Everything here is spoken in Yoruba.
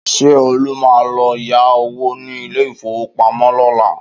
Ṣé Olú máa lọ yá owó ní ilé-ìfowópamọ́ lọ́la?